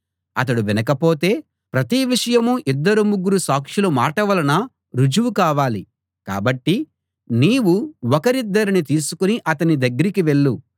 అతడు వినకపోతే ప్రతి విషయమూ ఇద్దరు ముగ్గురు సాక్షుల మాట వలన రుజువు కావాలి కాబట్టి నీవు ఒకరిద్దరిని తీసుకుని అతని దగ్గరికి వెళ్ళు